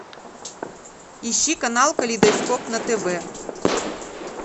ищи канал калейдоскоп на тв